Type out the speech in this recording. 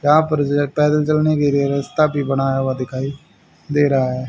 यहां पर रस्ता भी बना हुआ दिखाई दे रहा है।